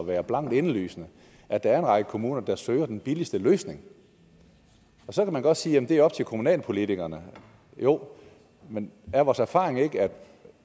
være blankt indlysende at der er en række kommuner der søger den billigste løsning så kan man godt sige at det er op til kommunalpolitikerne jo men er vores erfaring ikke at